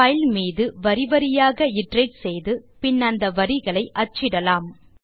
file மீது வரி வாரியாக இட்டரேட் செய்து பின் அந்த வரிகளை அச்சிடலாம்